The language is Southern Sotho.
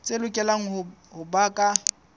tse lokelang ho ba ka